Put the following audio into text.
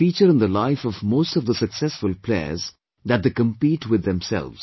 It is a feature in the life of most of the successful players that they compete with themselves